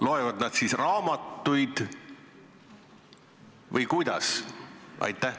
Loevad nad siis raamatuid või kuidas?